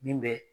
Min bɛ